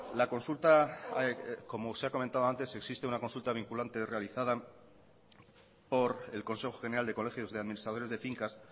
la consulta como se ha comentado antes existe una consulta vinculante realizada por el consejo general de colegios de administradores de fincas